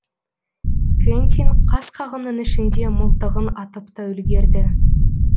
квентин қас қағымның ішінде мылтығын атып та үлгерді